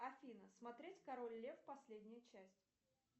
афина смотреть король лев последнюю часть